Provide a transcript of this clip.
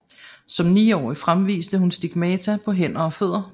Som niårig fremviste hun stigmata på hænder og fødder